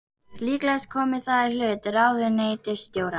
Líklegast komi það í hlut ráðuneytisstjóra